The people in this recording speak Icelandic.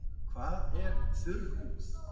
Hvað er þurr húð?